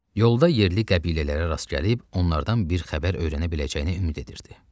Yolda yerli qəbilələrə rast gəlib, onlardan bir xəbər öyrənə biləcəyinə ümid edirdi.